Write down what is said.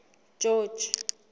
george